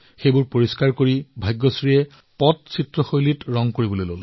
পিছত তেওঁ নিতৌ দুঘণ্টা এই পাথৰসমূহত পট্টচিত্ৰ শৈলীত ছবি অংকন কৰে